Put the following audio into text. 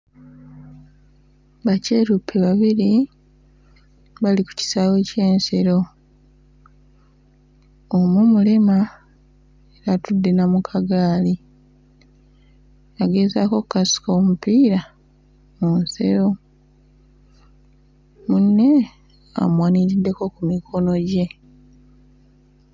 Bakyeruppe babiri bali ku kisaawe ky'ensero, omu mulema era atudde na mu kagaali agezaako okukasuka omupiira mu nsero, munne amuwaniriddeko ku mikono gye.